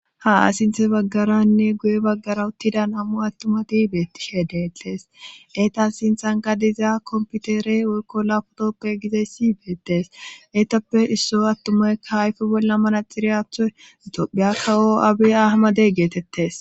ha sinthe baggaranne guye baggara uttidan ammu attumati beettishe deettees eetas sinthanka dizaa komputere woykko la putokoy gize siyibeettes eetappe isso attumaykka hayfe bolla manaxiriyaththo itohphiyakkawo abi ahamade geetettes